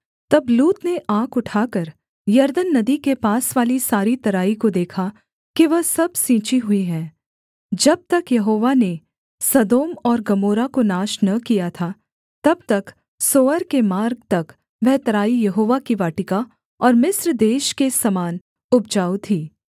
तब लूत ने आँख उठाकर यरदन नदी के पास वाली सारी तराई को देखा कि वह सब सिंची हुई है जब तक यहोवा ने सदोम और गमोरा को नाश न किया था तब तक सोअर के मार्ग तक वह तराई यहोवा की वाटिका और मिस्र देश के समान उपजाऊ थी